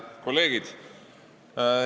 Head kolleegid!